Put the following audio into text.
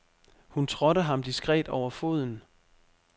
Hun trådte ham diskret over foden.